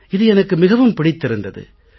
இது எனக்கு மிகவும் பிடித்திருந்தது